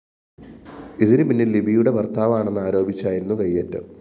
ഇതിന് പിന്നില്‍ ലിബിയുടെ ഭര്‍ത്താവാണെന്നാരോപിച്ചായിരുന്നു കയ്യേറ്റം